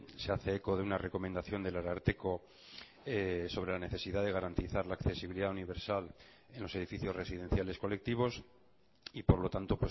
se hace eco de una recomendación del ararteko sobre la necesidad de garantizar la accesibilidad universal en los edificios residenciales colectivos y por lo tanto